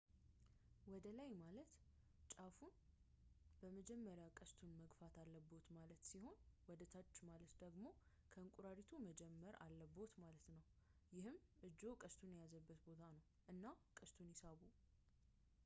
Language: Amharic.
ወደላይ ማለት ጫፉ ላይ በመጀመር ቀስቱን መግፋት አለብዎት ማለት ሲሆን ወደታች ማለት ደግሞ ከእንቁራሪቱ መጀመር አለብዎት ማለት ነው ይህም እጅዎ ቀስቱን የያዘበት ቦታ ነው እና ቀስቱን ይሳቡ